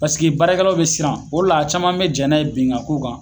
Paseke baarakɛlaw mi siran, o le la caman bi jɛn n'a ye bin ga k'u kan